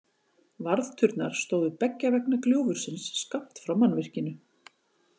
Varðturnar stóðu beggja vegna gljúfursins skammt frá mannvirkinu.